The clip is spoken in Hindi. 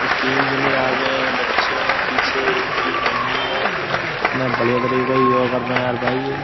ये तीन जने आ गए हैं बच्चे हैं पीछे इनकी मम्मी है इतना बढ़िया तरीके का योगा कर रहे हैं यार भाई ये।